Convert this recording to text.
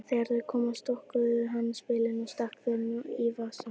Þegar þau komu stokkaði hann spilin og stakk þeim svo í vasann.